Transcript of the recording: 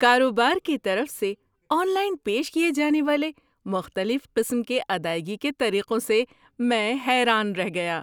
کاروبار کی طرف سے آن لائن پیش کیے جانے والے مختلف قسم کے ادائیگی کے طریقوں سے میں حیران رہ گیا۔